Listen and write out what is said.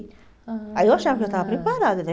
Aí eu achava que eu já estava preparada, né?